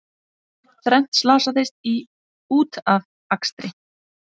Þrennt slasaðist í útafakstri